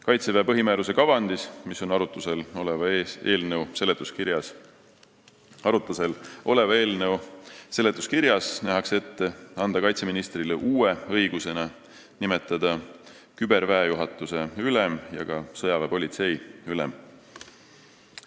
Kaitseväe põhimääruse kavandis, mis on arutusel oleva eelnõu seletuskirjas, nähakse ette anda kaitseministrile uue õigusena õigus nimetada küberväejuhatuse ülem ja ka sõjaväepolitsei ülem.